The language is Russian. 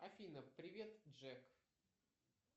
афина привет джек